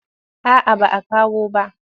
A'a ba a kawo ba.